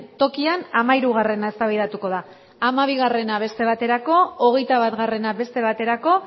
tokian hamahirugarrena eztabaidatuko da hamabigarrena beste baterako hogeita batgarrena beste baterako